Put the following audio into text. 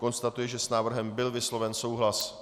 Konstatuji, že s návrhem byl vysloven souhlas.